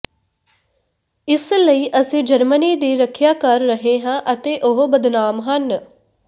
ਇਸ ਲਈ ਅਸੀਂ ਜਰਮਨੀ ਦੀ ਰੱਖਿਆ ਕਰ ਰਹੇ ਹਾਂ ਅਤੇ ਉਹ ਬਦਨਾਮ ਹਨ